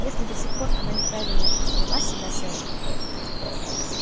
если до сих пор она неправильно вела себя с эшли